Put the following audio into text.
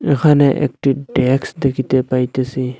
এখানে একটি ড্যাক্স দেখিতে পাইতাসি।